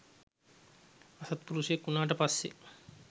අසත්පුරුෂයෙක් වුණාට පස්සේ